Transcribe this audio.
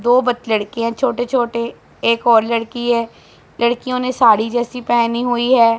दो बत लड़कियां छोटे छोटे एक और लड़की है लड़कियों ने साड़ी जैसी पेहनी हुई है।